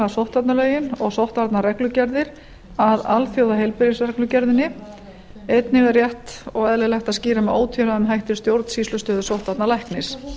sóttvarnalögin og sóttvarnareglugerðir að alþjóðheilbriðgisreglugerðinni einnig er rétt og eðlilegt að skýra með ótvíræðum hætti stjórnsýslustöðu sóttvarnalæknis